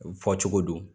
U fɔ cogo do